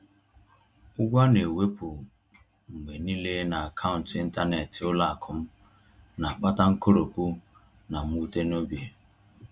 Ụgwọ a na-ewepụ mgbe niile n’akaụntụ ịntanetị ụlọ akụ m na-akpata nkoropụ na mwute n’obi.